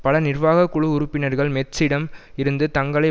பல நிர்வாக குழு உறுப்பினர்கள் மெட்ஸிடம் இருந்து தங்களை